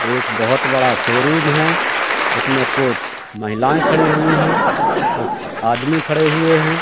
एक बहोत बड़ा शोरूम है उसमे कुछ महिलाएं खड़ी हुई है कुछ आदमी खड़े हुए है।